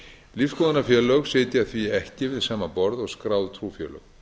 lífsskoðunarfélög sitja því ekki við sama borð og skráð trúfélög